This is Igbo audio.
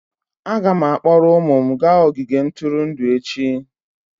Aga m akpọrọ ụmụ m gaa ogige ntụrụndụ echi.